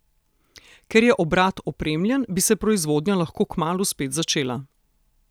Ker je obrat opremljen, bi se proizvodnja lahko kmalu spet začela.